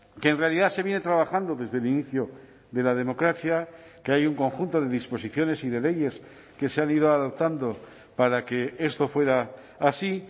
que en realidad se viene trabajando desde el inicio de la democracia que hay un conjunto de disposiciones y de leyes que se han ido adoptando para que esto fuera así